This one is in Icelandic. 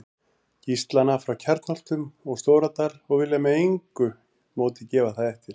Gíslana frá Kjarnholtum og Stóradal og vilja með engu móti gefa það eftir.